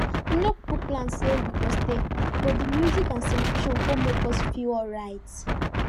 we no kuku plan say we go stay but the music and celebration con make us feel alright